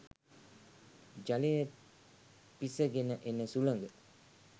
ජලය පිසගෙන එන සුළඟ